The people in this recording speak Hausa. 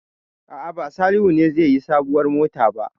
A'a, ba Salihu ne zai yi sabuwar mota ba.